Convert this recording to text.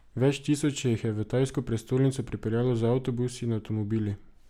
Več tisoč se jih je v tajsko prestolnico pripeljalo z avtobusi in avtomobili.